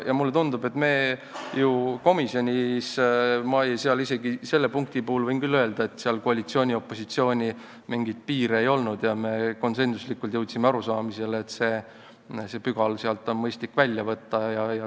Ja mulle tundub, et komisjonis meil punkti puhul küll koalitsiooni ja opositsiooni vahel mingeid piire ei olnud ja me jõudsime konsensuslikule arusaamisele, et see pügal on mõistlik sealt välja võtta.